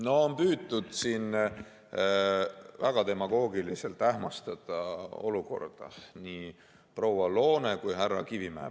No siin on püütud väga demagoogiliselt olukorda ähmastada, seda tegid nii proua Loone kui ka härra Kivimägi.